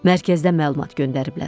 Mərkəzdən məlumat göndəriblər.